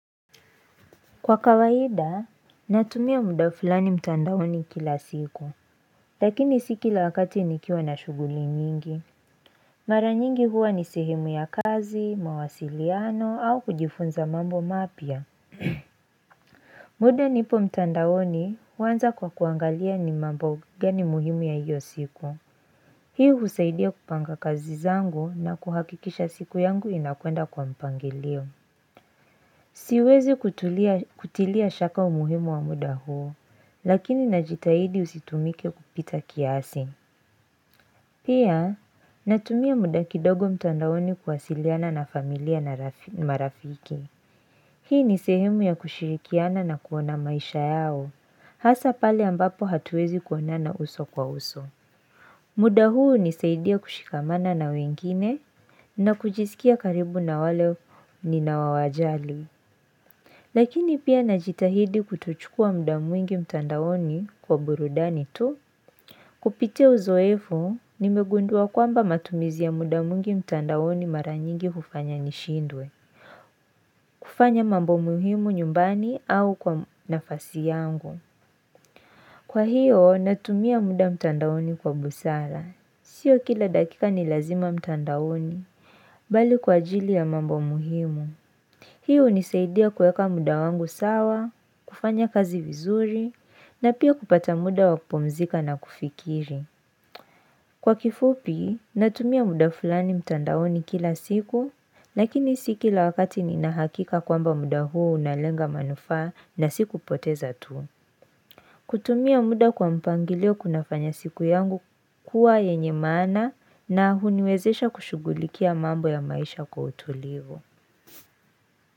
Kwa kawaida natumia muda fulani mtandaoni kila siku lakini si kila wakati nikiwa na shughuli nyingi mara nyingi huwa ni sehemu ya kazi mawasiliano au kujifunza mambo mapya muda nipo mtandaoni huanza kwa kuangalia ni mambo gani muhimu ya hiyo siku hii husaidia kupanga kazi zangu na kuhakikisha siku yangu inakwenda kwa mpangilio Siwezi kutilia shaka umuhimu wa muda huo lakini najitahidi usitumike kupita kiasi. Pia natumia muda kidogo mtandaoni kuwasiliana na familia na marafiki. Hii ni sehemu ya kushirikiana na kuona maisha yao hasa pale ambapo hatuwezi kuonana uso kwa uso. Muda huu hunisaidia kushikamana na wengine na kujisikia karibu na wale ninawajali. Lakini pia najitahidi kutochukua muda mwingi mtandaoni kwa burudani tu. Kupitia uzoefu, nimegundua kwamba matumizi ya muda mwingi mtandaoni mara nyingi hufanya nishindwe. Kufanya mambo muhimu nyumbani au kwa nafasi yangu. Kwa hiyo, natumia muda mtandaoni kwa busara. Sio kila dakika ni lazima mtandaoni, bali kwa ajili ya mambo muhimu. Hii hunisaidia kueka muda wangu sawa, kufanya kazi vizuri, na pia kupata muda wa kupumzika na kufikiri. Kwa kifupi, natumia muda fulani mtandaoni kila siku, lakini si kila wakati nina hakika kwamba muda huo unalenga manufaa na sikupoteza tu. Kutumia muda kwa mpangilio kuna fanya siku yangu kuwa yenye maana na huniwezesha kushughulikia mambo ya maisha kwa utulivu.